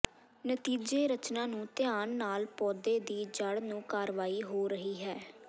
ਨਤੀਜੇ ਰਚਨਾ ਨੂੰ ਧਿਆਨ ਨਾਲ ਪੌਦੇ ਦੀ ਜੜ੍ਹ ਨੂੰ ਕਾਰਵਾਈ ਹੋ ਰਹੀ ਹੈ